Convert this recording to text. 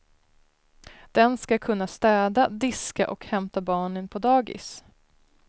Den ska kunna städa, diska och hämta barnen på dagis.